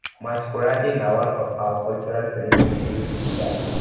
masqurade na one of our cultural ceremony wey no fit die